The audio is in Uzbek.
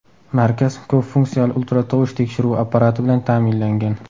Markaz ko‘p funksiyali ultratovush tekshiruvi apparati bilan ta’minlangan.